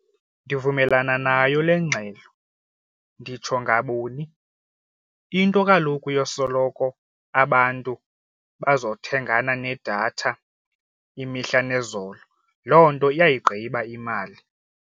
Ndivumelana nayo le ngxelo. Nditsho ngabuni, into kaloku yosoloko abantu bazothengana nedatha imihla nezolo loo nto iyayigqiba imali.